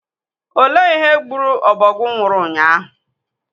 Olee ihe gburu ọbọgwụ nwụrụ ụnyaahụ?